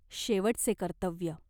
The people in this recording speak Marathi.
शेवटचे कर्तव्य.